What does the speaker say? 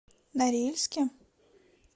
норильске